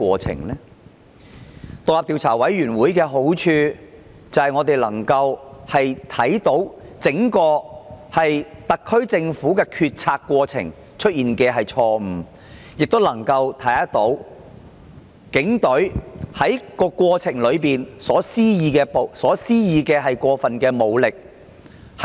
成立獨立調查委員會的好處，是讓我們能夠得知整個特區政府在決策過程中有否出現錯誤，亦能夠得知警方在事件中有否施用過分武力。